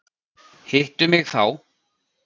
Hittu mig þá.